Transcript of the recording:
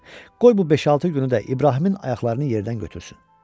Qoy bu beş-altı günü də İbrahimin ayaqlarını yerdən götürsün.